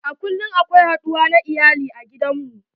A kullum akwai haduwa na iyali a gidan mu.